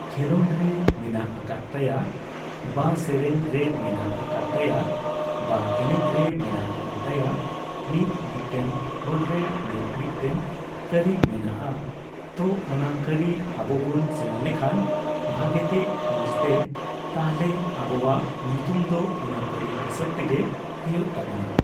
ᱠᱷᱮᱞᱳᱰ ᱨᱮ ᱢᱮᱱᱟᱜ ᱟᱠᱟᱫ ᱛᱟᱭᱟ ᱵᱟ ᱥᱮᱨᱮᱧ ᱨᱮ ᱢᱮᱱᱟᱜ ᱟᱠᱟᱫ ᱛᱟᱭᱟ ᱵᱟ ᱮᱱᱮᱡ ᱨᱮ ᱢᱮᱱᱟᱜ ᱟᱠᱟᱫ ᱛᱟᱭᱟ ᱢᱤᱫ ᱢᱤᱫᱴᱮᱱ ᱦᱚᱲᱨᱮ ᱢᱤᱫ ᱢᱤᱫᱴᱮᱱ ᱠᱟᱹᱨᱤ ᱢᱮᱱᱟᱜᱼᱟ ᱛᱚ ᱚᱱᱟ ᱠᱟᱹᱨᱤ ᱟᱵᱚᱵᱩᱱ ᱥᱮᱬᱟ ᱞᱮᱠᱷᱟᱱ ᱵᱷᱟᱜᱮᱛᱮ ᱢᱚᱪᱛᱮ ᱛᱟᱦᱚᱞᱮ ᱟᱵᱚᱣᱟᱜ ᱧᱩᱛᱩᱢ ᱫᱚ ᱚᱱᱟ ᱠᱟᱹᱨᱤ ᱦᱤᱥᱟᱹᱵ ᱛᱮᱜᱮ ᱦᱳᱭᱳᱜ ᱛᱟᱵᱚᱱᱟ ᱾